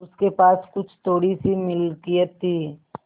उसके पास कुछ थोड़ीसी मिलकियत थी